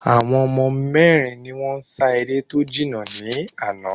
Àwọn mérin ni wón n sa eré tó jìn ní àná